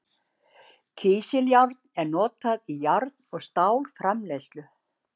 Kísiljárn er notað í járn- og stálframleiðslu.